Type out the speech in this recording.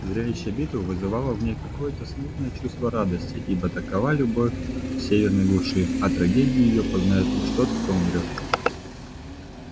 зрелище битвы вызывало в ней какое то смутное чувство радости ибо такова любовь в северной глуши а трагедию её познает лишь тот кто умирает